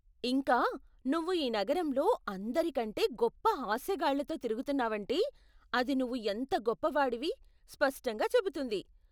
ఇంకా, నువ్వు ఈ నగరంలో అందరికంటే గొప్ప హాస్యగాళ్ళతో తిరుగుతున్నావంటే, అది నువ్వు ఎంత గొప్పవాడివి స్పష్టంగా చెబుతుంది.